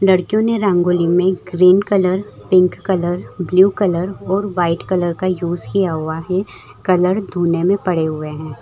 लड़कियो ने रंगोली में green colour pink colour blue colour और व्हाइट कलर का यूज़ किया हुआ है कलर धुनें में पड़े हुए हैं।